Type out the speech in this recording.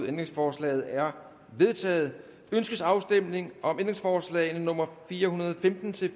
ændringsforslaget er vedtaget ønskes afstemning om ændringsforslag nummer fire hundrede og femten til